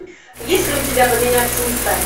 есть ли у тебя поменяться местами